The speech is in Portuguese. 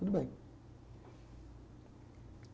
Tudo bem.